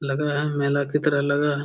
लग रहा है मेला की तरह लग रहा है।